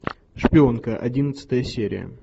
шпионка одиннадцатая серия